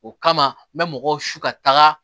O kama n bɛ mɔgɔw su ka taaga